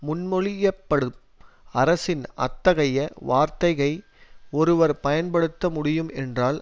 முன்மொழியப்படும் அரசின் அத்தகைய வார்த்தகை ஒருவர் பயன்படுத்த முடியும் என்றால்